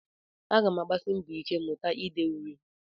Aga m agbasi mbọ ike mụta ide uri